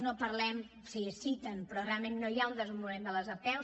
no en parlem sí es citen però realment no hi ha un desenvolupament de les apeu